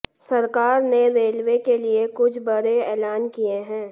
सरकार ने रेलवे के लिए कुछ बड़े एलान किए हैं